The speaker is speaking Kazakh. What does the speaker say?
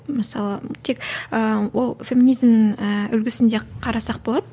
мысалы тек ыыы ол феминизм ы үлгісінде қарасақ болады